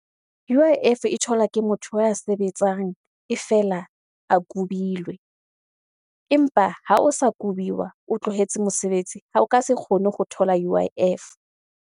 U_I_F e thola ke motho ya sebetsang e fela a kubilwe, empa ha o sa kubiwa, o tlohetse mesebetsi ha o ka se kgone go thola U_I_F.